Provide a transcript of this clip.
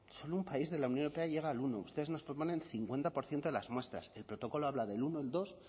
solo un país de la unión europea llega al uno ustedes nos proponen cincuenta por ciento de las muestras el protocolo habla del uno dos